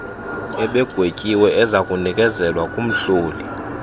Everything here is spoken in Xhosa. ebegwetyiwe ezakunikezelwa kumhloli